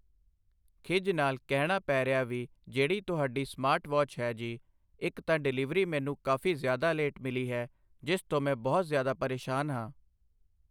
ਖਿੱਝ ਨਾਲ ਕਹਿਣਾ ਪੈ ਰਿਹਾ ਵੀ ਜਿਹੜੀ ਤੁਹਾਡੀ ਸਮਾਰਟ ਵੌਚ ਹੈ ਜੀ ਇੱਕ ਤਾਂ ਡਿਲੀਵਰੀ ਮੈਨੂੰ ਕਾਫੀ ਜ਼ਿਆਦਾ ਲੇਟ ਮਿਲੀ ਹੈ ਜਿਸ ਤੋਂ ਮੈਂ ਬਹੁਤ ਜ਼ਿਆਦਾ ਪਰੇਸ਼ਾਨ ਹਾਂ।